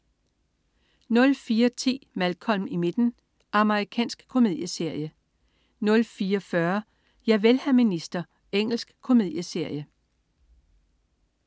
04.10 Malcolm i midten. Amerikansk komedieserie 04.40 Javel, hr. minister. Engelsk komedieserie